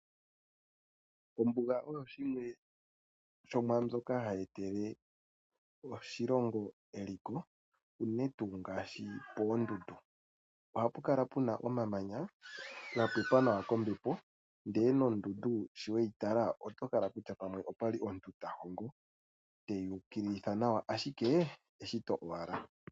Ombuga oyo yimwe yomwaambyoka hayi etele oshilongo eliko unene tuu ngaashi poondundu oha pu kala pu na omamanya ga pepwa nawa kombepo ndele nondundu sho we yi tala oto hala okutya pamwe opwa li omuntu ta hongo teyi ukililitha nawa ashike eshito owala.